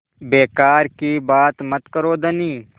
बेकार की बात मत करो धनी